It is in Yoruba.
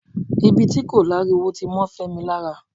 ibi tí kò lári wo ti mọ́ Fẹ́mi lára